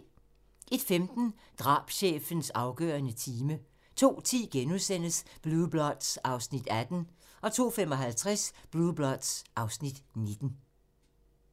01:15: Drabschefens afgørende time 02:10: Blue Bloods (Afs. 18)* 02:55: Blue Bloods (Afs. 19)